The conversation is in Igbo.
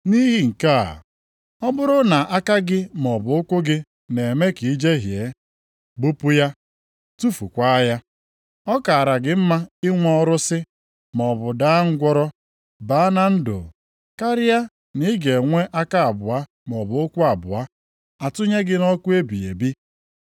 Nʼihi nke a, ọ bụrụ na aka gị maọbụ ụkwụ gị na-eme ka i jehie, gbupụ ya tufukwaa ya. Ọ kaara gị mma inwe ọrụsị maọbụ daa ngwụrọ baa na ndụ, karịa na ị ga-enwe aka abụọ maọbụ ụkwụ abụọ, a tụnye gị nʼọkụ ebighị ebi.